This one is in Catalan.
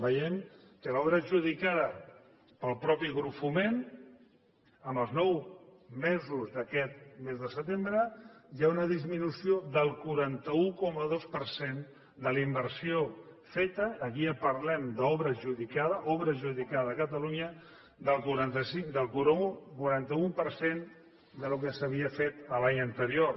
veiem que en l’obra adjudicada pel mateix grup foment en els nou mesos d’aquest mes de setembre hi ha una disminució del quaranta un coma dos per cent de la inversió feta aquí ja parlem d’obra adjudicada obra adjudicada a catalunya del quaranta un per cent del que s’havia fet l’any anterior